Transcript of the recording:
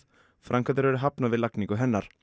framkvæmdir eru hafnar við lagningu hennar